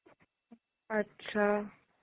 আচ্ছা.